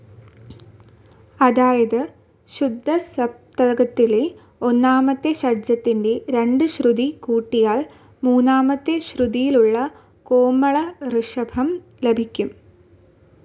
അതായത് ശുദ്ധസപ്തകത്തിലെ ഒന്നാമത്തെ ഷഡ്ജത്തിന് രണ്ട് ശ്രുതി കൂട്ടിയാൽ മൂന്നാമത്തെ ശ്രുതിയിലുള്ള കോമള ഋഷഭം ലഭിക്കും.